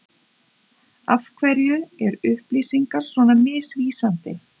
Af hverju er upplýsingar svona misvísandi?